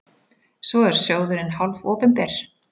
Svo er sjóðurinn hálfopinber.